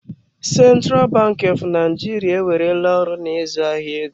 Central Bank of Nigeria ewerela ọrụ na ịzụ ahịa ego.